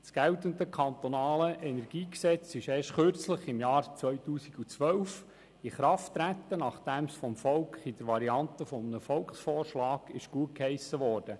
Das geltende KEnG ist erst vor Kurzem, nämlich im Jahr 2012 in Kraft getreten, nachdem es vom Volk in der Variante eines Volksvorschlags gutgeheissen wurde.